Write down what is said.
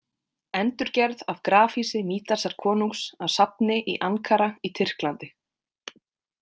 Endurgerð af grafhýsi Mídasar konungs á safni í Ankara í Tyrklandi.